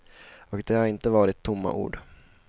Och det har inte varit tomma ord.